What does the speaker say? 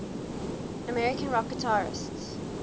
american rock guitarists